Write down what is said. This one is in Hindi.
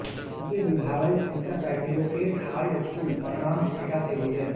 उनकी विद्यालयी शिक्षा कैथीलोकेट हाई स्कूल पथानामथिट्टा से हुई